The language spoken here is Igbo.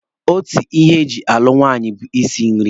Otu ihe e ji alụ nwaanyị bụ isi nri.